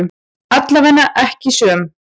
Allavega ekki söm.